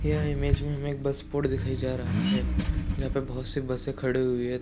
यह ईमेज में हमें एक बस स्पॉट दिखाया जा रहा है जहाॅं पे बोहोत सी बसें खड़ी हुई हैं।